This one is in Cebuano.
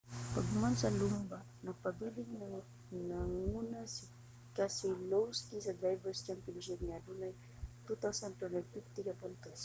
pagkahuman sa lumba nagpabiling nanguna si keselowski sa drivers' championship nga adunay 2,250 ka puntos